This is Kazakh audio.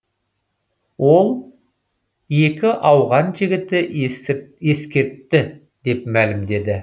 ол екі ауған жігіті ескертті деп мәлімдеді